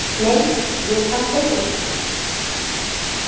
Nei, ég fann beikonlyktina.